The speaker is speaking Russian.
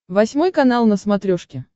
восьмой канал на смотрешке